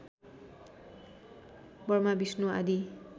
Burma Vishnu आदि